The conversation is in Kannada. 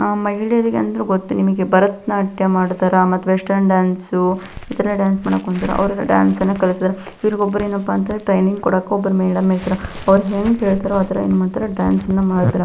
ಆಹ್ಹ್ ಮಹಿಳೆಯರಿಗೆ ಅಂದ್ರೆ ಗೊತ್ತು ನಿಮಗೆ ಭರತನಾಟ್ಯ ಮಾಡ್ತಾರಾ ಮತ್ ವೆಶ್ಟನ್ ಡಾನ್ಸು ಇತರ ಡಾನ್ಸ್ ಮಾಡೋಕ್ ಹೊಂತರ ಅವ್ರಿಗೆ ಡಾನ್ಸ್ ಕಳಿಸ್ತರ್ ಇವರ್ಗೋಬ್ರೆನಪ್ಪಾಂದ್ರ ಟ್ರೇನಿಂಗ್ ಕೊಡೋಕೆ ಒಬ್ರು ಮೇಡಂ ಇರ್ತರ್ ಅವ್ರು ಹೆಂಗ್ ಹೇಳ್ತರ ಆತರ ಏನ್ ಮಾಡ್ತಾರಾ ಡಾನ್ಸ್ನ ಮಾಡ್ತಾರ .